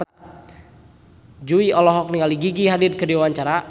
Jui olohok ningali Gigi Hadid keur diwawancara